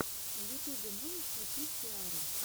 в ютубе можешь включить сиару